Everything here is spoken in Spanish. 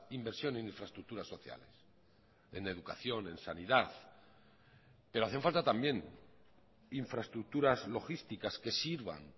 inversión en infraestructuras sociales en educación en sanidad pero hacen falta también infraestructuras logísticas que sirvan